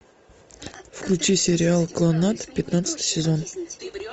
включи сериал кланнад пятнадцатый сезон